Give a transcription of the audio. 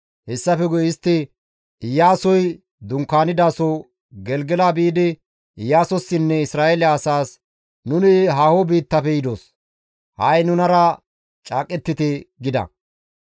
Hessafe guye istti Iyaasoy dunkaanidaso Gelgela biidi Iyaasossinne Isra7eele asaas, «Nuni haaho biittafe yidos; ha7i nunara caaqettite» gida.